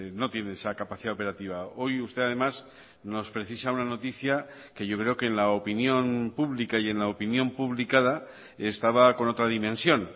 no tiene esa capacidad operativa hoy usted además nos precisa una noticia que yo creo que en la opinión pública y en la opinión publicada estaba con otra dimensión